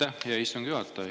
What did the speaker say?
Aitäh, hea istungi juhataja!